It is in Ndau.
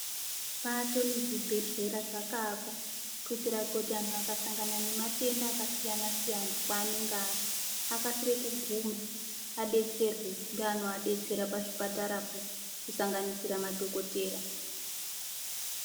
Mipato ne zvibhedhlera zvaka akwa kuitira kuti anhu aka sangana ne matenda aka siyana siyana pa anenge ari akasire ku guma vadetserwe nge ano vadetsera pa zvipatara po ku sanganisira madhokotera.